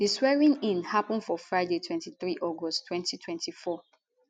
di swearingin happun for friday 23 august 2024